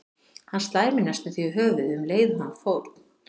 Hann slær mig næstum því í höfuðið um leið og hann fórn